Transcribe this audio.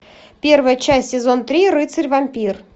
первая часть сезон три рыцарь вампир